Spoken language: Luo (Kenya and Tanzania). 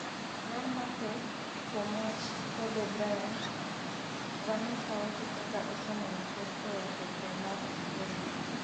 ler mathoth kuom wach Kobe Bryant: Vanessa wacho kaka oseneno pek e wach tho mar chuore no